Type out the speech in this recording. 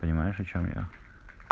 понимаешь о чём я